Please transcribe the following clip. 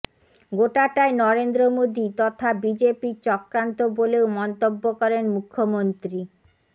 গোটাটাই নরেন্দ্র মোদি তথা বিজেপির চক্রান্ত বলেও মন্তব্য করেন মুখ্যমন্ত্রী